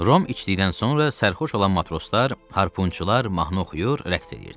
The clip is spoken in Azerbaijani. Rum içdikdən sonra sərxoş olan matroslar, harpunçular mahnı oxuyur, rəqs eləyirdilər.